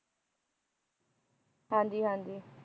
ਹਾਂਜੀ ਹਾਂਜੀ